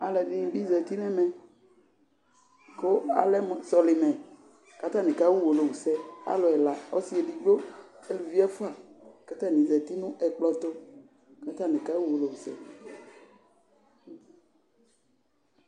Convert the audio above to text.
Aaluɛɖini bi zati nʋ ɛmɛ kʋ alɛ mʋ sɔlimɛ k'atani k'aɣa owolowusɛ, alʋ ɛla: ɔsi eɖigbo, aalʋvi ɛfua k'atani zati n'ɛkplɔtʋ k'atani kaɣa uwolowusɛ